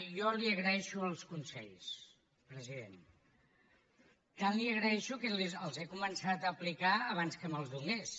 jo li agraeixo els consells president tant els hi agraeixo que els he començat a aplicar abans que me’ls donés